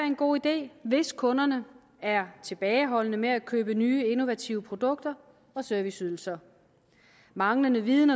en god idé hvis kunderne er tilbageholdende med at købe nye innovative produkter og serviceydelser manglende viden